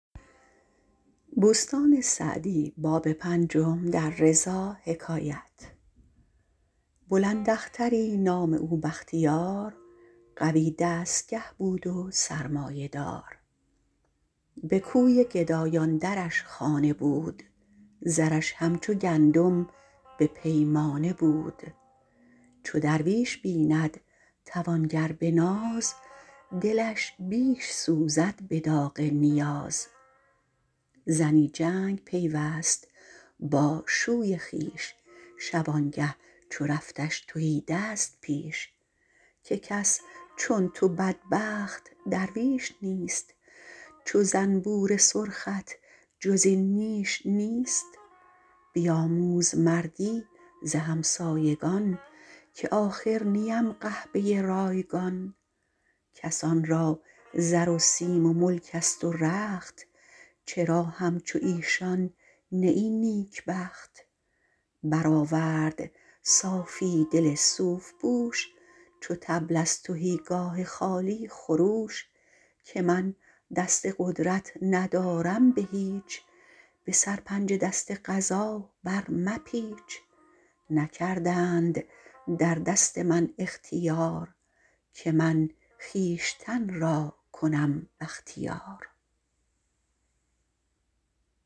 بلند اختری نام او بختیار قوی دستگه بود و سرمایه دار به کوی گدایان درش خانه بود زرش همچو گندم به پیمانه بود چو درویش بیند توانگر به ناز دلش بیش سوزد به داغ نیاز زنی جنگ پیوست با شوی خویش شبانگه چو رفتش تهیدست پیش که کس چون تو بدبخت درویش نیست چو زنبور سرخت جز این نیش نیست بیاموز مردی ز همسایگان که آخر نیم قحبه رایگان کسان را زر و سیم و ملک است و رخت چرا همچو ایشان نه ای نیکبخت بر آورد صافی دل صوف پوش چو طبل از تهیگاه خالی خروش که من دست قدرت ندارم به هیچ به سرپنجه دست قضا بر مپیچ نکردند در دست من اختیار که من خویشتن را کنم بختیار